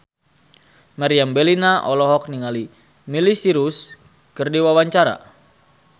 Meriam Bellina olohok ningali Miley Cyrus keur diwawancara